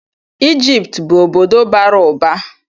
Ijipt bụ obodo bara ụba.